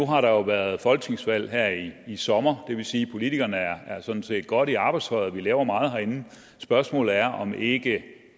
har der jo været folketingsvalg her i i sommer og det vil sige at politikerne sådan set er godt i arbejdstøjet vi laver meget herinde spørgsmålet er om det ikke